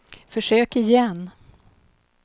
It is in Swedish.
försök igen